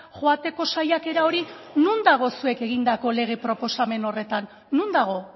joateko saiakera hori non dago zuek egindako lege proposamen horretan non dago